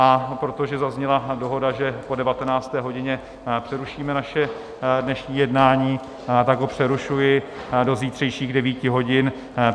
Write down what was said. A protože zazněla dohoda, že po 19. hodině přerušíme naše dnešní jednání, tak ho přerušuji do zítřejších 9 hodin.